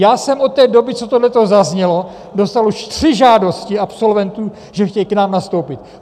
Já jsem od té doby, co tohle zaznělo, dostal už tři žádosti absolventů, že chtějí k nám nastoupit.